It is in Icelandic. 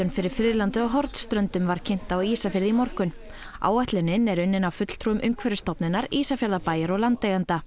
fyrir friðlandið á Hornströndum var kynnt á Ísafirði í morgun áætlunin er unnin af fulltrúum Umhverfisstofnunar Ísafjarðarbæjar og landeigenda